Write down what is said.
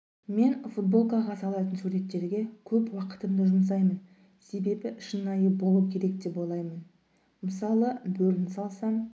мен футболкаға салатын суреттерге көп уақытымды жұмсаймын себебі шынайы болу керек деп ойлаймын мысалы бөріні салсам